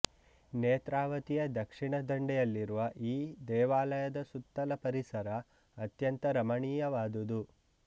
ನೇತ್ರಾವತಿಯ ದಕ್ಷಿಣ ದಂಡೆಯಲ್ಲಿರುವ ಈ ದೇವಾಲಯದ ಸುತ್ತಲ ಪರಿಸರ ಅತ್ಯಂತ ರಮಣೀಯವಾದುದು